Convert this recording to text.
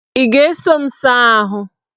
Ị ga-eso m saa ahụ?